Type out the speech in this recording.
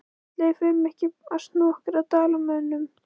Ætli við förum ekki bara að snúa okkur að Dalamönnum?